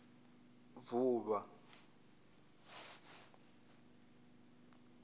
vuvha